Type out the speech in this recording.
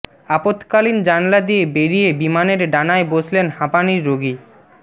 আপৎকালীন জানলা দিয়ে বেরিয়ে বিমানের ডানায় বসলেন হাঁপানির রোগী